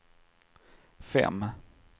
fem